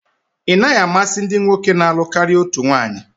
Ị naghị amasị ndị nwoke na-alụ karịa otu nwaanyi?